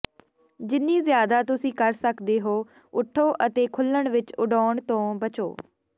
ਜਿੰਨੀ ਜ਼ਿਆਦਾ ਤੁਸੀਂ ਕਰ ਸਕਦੇ ਹੋ ਉੱਠੋ ਅਤੇ ਖੁੱਲ੍ਹਣ ਵਿੱਚ ਉਡਾਉਣ ਤੋਂ ਬਚੋ